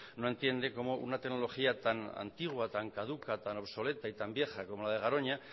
no entiende cómo una tecnología tan antigua tan caduca tan obsoleta y tan vieja como la de garoña